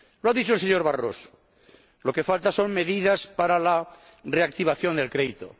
Lo ha dicho el señor Barroso lo que falta son medidas para la reactivación del crédito.